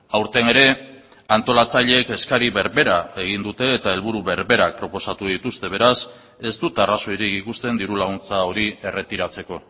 aurten ere antolatzaileek eskari berbera egin dute eta helburu berberak proposatu dituzte beraz ez dut arrazoirik ikusten diru laguntza hori erretiratzeko